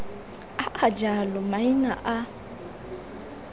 a a jalo maina a